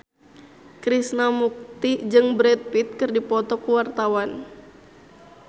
Krishna Mukti jeung Brad Pitt keur dipoto ku wartawan